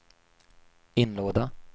inlåda